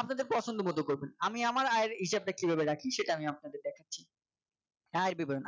আপনারদের পছন্দমত করবেন আমি আমার আয়ের হিসাব টা কিভাবে রাখি সেটা আমি দেখাচ্ছি আয়ের বিবরণ